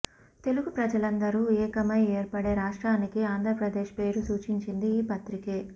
తెలుగు ప్రజలందరు ఏకమై ఏర్పడే రాష్ట్రానికి ఆంధ్రప్రదేశ్ పేరు సూచించిది ఈ పత్రికే